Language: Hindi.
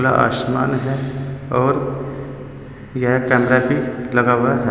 यहां आसमान है और यहां एक कैमरा भी लगा हुआ है।